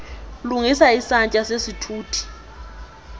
lungisa isantya sesithuthi